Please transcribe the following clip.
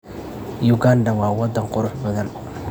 Uganda waa wadan qurux badan.